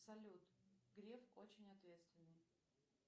салют греф очень ответственный